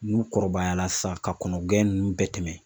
N'u kɔrɔbayala san ka kɔnɔn gɛn ninnu bɛɛ tɛmɛ.